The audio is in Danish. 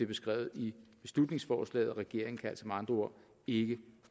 beskrevet i beslutningsforslaget regeringen kan altså med andre ord ikke